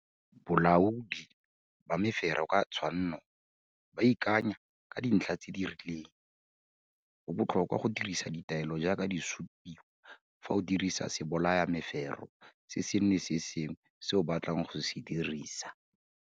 Bolaodi ba mefero ka tshwanno ba ikanya ka dintlha tse di riling. Go botlhokwa go dirisa ditaelo jaaka di supiwa fa o dirisa sebolayamefero se sengwe le se sengwe se o batlang go se dirisisa.